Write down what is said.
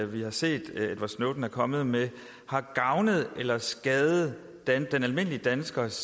vi har set edward snowden er kommet med har gavnet eller skadet den almindelige danskers